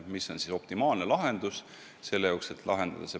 See oleks optimaalne probleemi lahendus.